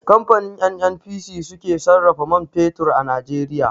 Kamfanin NNPC su ke sarrafa man fetur a Najeriya.